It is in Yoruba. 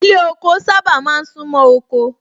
Ilé ọkọ sábà máa ń sún mọ́ oko